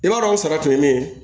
I b'a dɔn o sara tun ye min ye